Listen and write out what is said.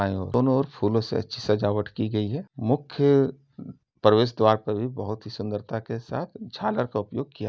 दोनों ओर फूलों से अच्छी सजावट की गई है। मुख्य प्रवेश द्वार पर भी बोहोत ही सुंदरता के साथ झालर का उपयोग किया --